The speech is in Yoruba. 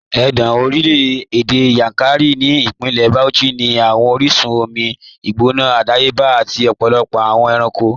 Ẹ̀gàn orílẹ̀-èdè Yankari ni Ipínlẹ̀ Bauchí ni awọn oríṣun omi gbóná àdàyébà àti ọ̀pọ̀lọpọ̀ awọn èrànko